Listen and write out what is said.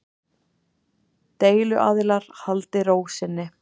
Deiluaðilar haldi ró sinni